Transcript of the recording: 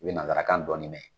U be nazarakan dɔɔni mɛn.